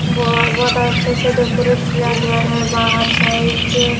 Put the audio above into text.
वो आ बहुत अच्छे से डेकोरेट किया गया हैं बाहर साइड --